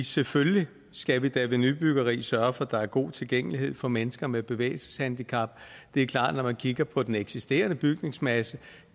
selvfølgelig skal vi da ved nybyggeri sørge for at der er god tilgængelighed for mennesker med bevægelseshandicap det er klart at når man kigger på den eksisterende bygningsmasse